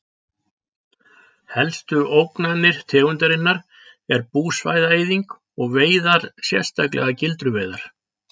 Helstu ógnanir tegundarinnar er búsvæða-eyðing og veiðar sérstaklega gildruveiðar.